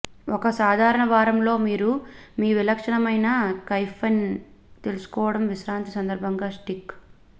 ఒక సాధారణ వారంలో మీరు మీ విలక్షణమైన కెఫైన్ తీసుకోవడం విశ్రాంతి సందర్భంగా స్టిక్